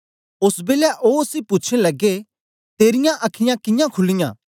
ओस बेलै ओ उसी पूछन लगे तेरीयां अखीयाँ कियां खुलीयां